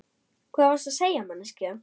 Hvað varstu þá að segja manneskja?